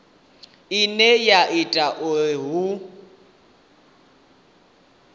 ine ya ita uri hu